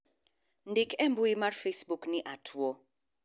ndik e mbui mar facebook ni atuo